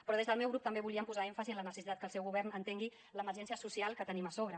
però des del meu grup també volíem posar èmfasi en la necessitat que el seu govern entengui l’emergència social que tenim a sobre